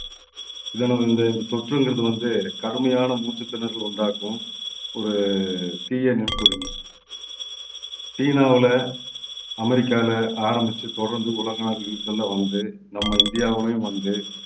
இந்த தொற்றுங்கிறது வந்து கடுமையான மூச்சுத்திணறலை உண்டாக்கும் ஒரு தீய நுண்கிருமி சீனாவுல அமெரிக்கால ஆரம்பிச்சு தொடர்ந்து உலக நாடுகளுக்கெல்லாம் வந்து நம்ம இந்தியாவுலயும் வந்து